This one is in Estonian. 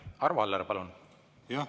Arvo Aller, palun!